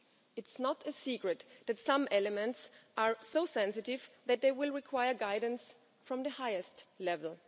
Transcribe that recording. It is not a secret that some elements are so sensitive that they will require guidance from the highest level.